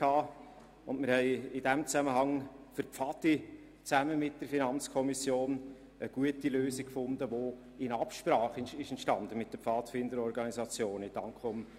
In diesem Zusammenhang haben wir gemeinsam mit der Finanzkommission für die Pfadi eine gute Lösung gefunden, die in Absprache mit den Pfadfinderorganisationen entstanden ist.